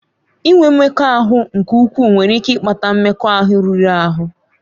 Inwe mmekọahụ nke ukwuu nwere ike ịkpata mmekọahụ riri ahụ.